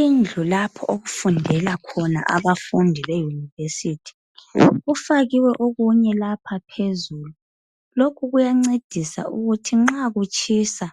Indlu lapho okufundela khona abafundi beyunivesithi, kufakiwe okunye lapha phezulu lokhu kuyancedisa ukuthi nxa kutshisa